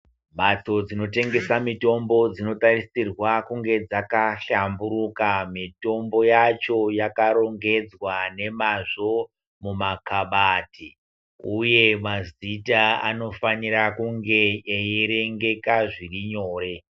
Mhatso dzinotengesa mitombo dzinotarisirwa kunge dzakashamburuka mitombo yacho yakarongedzwa nemazvo mumakhabati uye mazita anofanira kunge eierengeka zviri nyore.